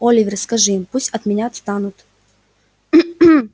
оливер скажи им пусть от меня отстанут